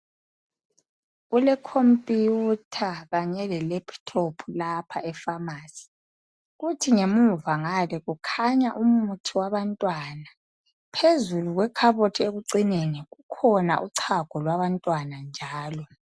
Kulecomputer kanye lelaptop lapha epharmacy. Kuthi ngemuva ngale kukhanya umuthi wabantwana. Phezulu kwekhabothi ekucineni, kukhona uchago lwabantwana njalo.